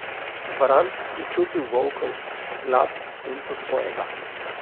Bran je čutil volkov glad, senco svojega.